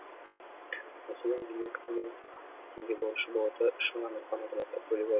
мәселен елу екі миллион теңге борышы бола тұра үш мыңнан астам азаматтың көлігі